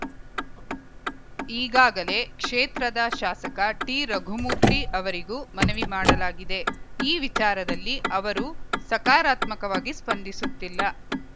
ಈಗಾಗಲೇ ಕ್ಷೇತ್ರದ ಶಾಸಕ ಟಿರಘುಮೂರ್ತಿ ಅವರಿಗೂ ಮನವಿ ಮಾಡಲಾಗಿದೆ ಈ ವಿಚಾರದಲ್ಲಿ ಅವರೂ ಸಕರಾತ್ಮಕವಾಗಿ ಸ್ಪಂದಿಸುತ್ತಿಲ್ಲ